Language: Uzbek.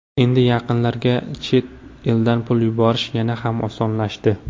Endi yaqinlarga chet eldan pul yuborish yana ham osonlashdi.